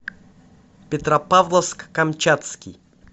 петропавловск камчатский